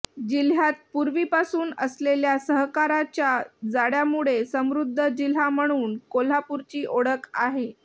जिल्ह्यात पूर्वीपासून असलेल्या सहकाराच्या जाळ्यामुळे समृद्ध जिल्हा म्हणून कोल्हापूरची ओळख आहे